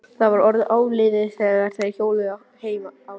Það var orðið áliðið þegar þeir hjóluðu heim á leið.